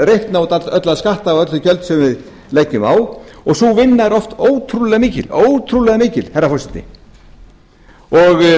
reikna út alla skatta og öll þau gjöld sem við leggjum á og sú vinna er oft ótrúlega mikil herra forseti við þurfum að